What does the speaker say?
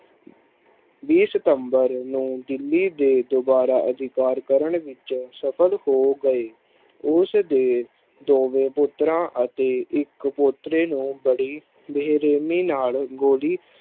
ਵੀਹ ਸਤੰਬਰ ਨੂੰ ਦਿੱਲੀ ਦੇ ਦੁਬਾਰਾ ਅਧਿਕਾਰ ਕਰਨ ਵਿੱਚ ਸਫ਼ਲ ਹੋ ਗਏ, ਉਸ ਦੇ ਦੋਵੇਂ ਪੁੱਤਰਾਂ ਅਤੇ ਇੱਕ ਪੋਤਰੇ ਨੂੰ ਬੜੀ ਬੇਰਹਿਮੀ ਨਾਲ ਗੋਲੀ